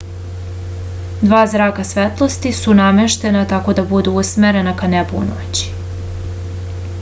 dva zraka svetlosti su nameštena tako da budu usmerena ka nebu u toku noći